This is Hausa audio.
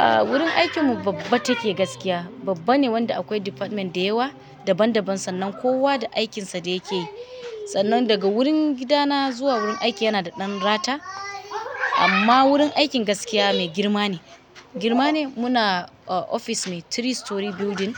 Ah, wurin aikin mu babba take gaskiya, babba ne wanda akwai departments da yawa, daban daban sannan kowa da aikinsa da yake yi. Sannan daga wurin gidana zuwa wurin aiki yana da ɗan rata, amma wurin aikin gaskiya mai girma ne. Girma ne muna a ofis mai three storey building